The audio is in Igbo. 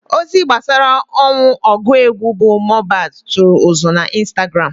Ozi gbasara ọnwụ ọgụ egwu bụ Mohbad tụrụ ụzụ na Instagram.